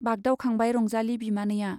बागदावखांबाय रंजाली बिमानैया।